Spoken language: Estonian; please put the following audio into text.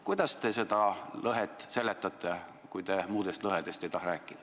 Kui te muudest lõhedest ei taha rääkida, siis kuidas te seda lõhet seletate?